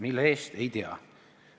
Mille eest, ei tea.